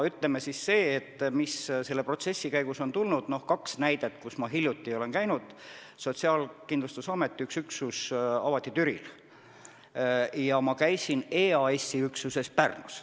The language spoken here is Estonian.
Noh, kaks näidet, kus ma hiljuti olen käinud: Sotsiaalkindlustusameti üks üksus avati Türil, ka käisin ma EAS-i üksuses Pärnus.